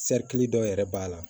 dɔ yɛrɛ b'a la